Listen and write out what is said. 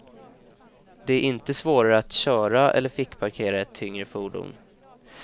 Det är inte svårare att köra eller fickparkera ett tyngre fordon.